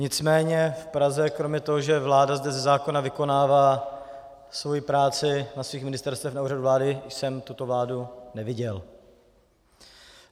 Nicméně v Praze kromě toho, že vláda zde ze zákona vykonává svoji práci na svých ministerstvech, na Úřadu vlády jsem tuto vládu neviděl.